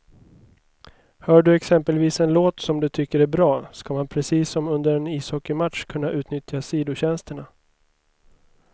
Hör du exempelvis en låt som du tycker är bra, ska man precis som under en ishockeymatch kunna utnyttja sidotjänsterna.